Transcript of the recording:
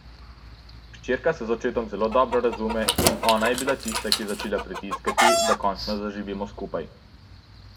Hčerka se z očetom zelo dobro razume in ona je bila tista, ki je začela pritiskati, da končno zaživimo skupaj.